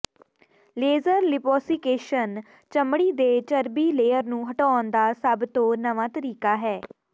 laser liposuction ਚਮੜੀ ਦੇ ਚਰਬੀ ਲੇਅਰ ਨੂੰ ਹਟਾਉਣ ਦਾ ਸਭ ਤੋਂ ਨਵਾਂ ਤਰੀਕਾ ਹੈ